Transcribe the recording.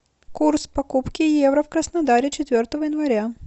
курс покупки евро в краснодаре четвертого января